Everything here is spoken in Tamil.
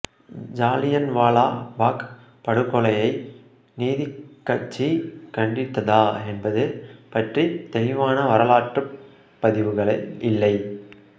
ஜாலியன்வாலா பாக் படுகொலையை நீதிக்கட்சி கண்டித்ததா என்பது பற்றித் தெளிவான வரலாற்றுப் பதிவுகள் இல்லை